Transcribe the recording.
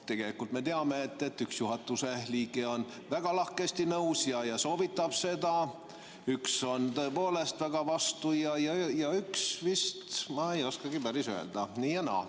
Tegelikult me teame, et üks juhatuse liige on väga lahkesti nõus ja soovitab seda, üks on tõepoolest väga vastu ja üks vist, ma ei oskagi päris öelda, nii ja naa.